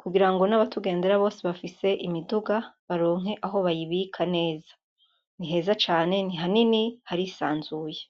kugirango natugendera bose bafise imiduga baronke aho bayibika neza niheza cane ni hanini harisanzuye.